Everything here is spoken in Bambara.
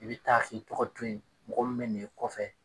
I bɛ taa k'i tɔgɔ to yen mɔgɔ min bɛ n'i kɔfɛ